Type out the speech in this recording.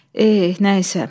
Eh, nəysə.